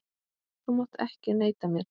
Þú mátt ekki neita mér.